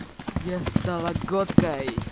я стала готкой